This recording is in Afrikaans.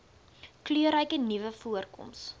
kleurryke nuwe voorkoms